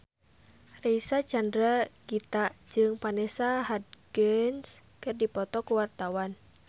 Reysa Chandragitta jeung Vanessa Hudgens keur dipoto ku wartawan